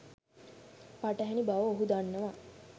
පටහැනි බව ඔහු දක්වනවා